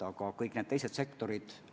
Aga kõik need teised sektorid ...